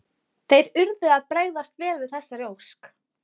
Hugsanir mínar lágu nefnilega langt frá allri menntun.